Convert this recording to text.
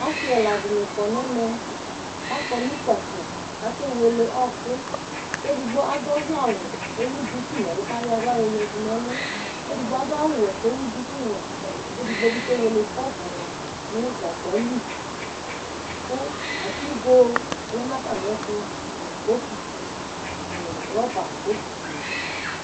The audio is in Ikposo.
Ɔsɩ ɛla dɩnɩ kɔ nʋ ɛmɛ, akɔ nʋ kpafo kʋ akewele ɔɣɔkʋ kʋ edogbo adʋ ɔvlɛawʋ kʋ ewu duku nʋ ɛlʋ kʋ ayɔ aɣla yɔyǝdu nʋ ɛlʋ kʋ edigbo awʋwɛ kʋ ewu dukuwɛ kʋ edigbo bɩ kewele kɔpʋ nʋ gagba li kʋ atigo lɛ nʋ atamɩɛtʋ nʋ bokiti nʋ rɔba botitinɩ